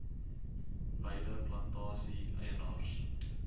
beide plantasie eienaars